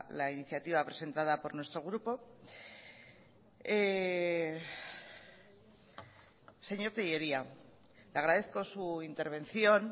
la iniciativa presentada por nuestro grupo señor tellería le agradezco su intervención